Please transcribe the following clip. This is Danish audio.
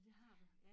Det har du ja